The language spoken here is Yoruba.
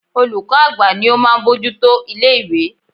Olùkọ́ àgbà ní ó máa ń bojútó ilé ìwé.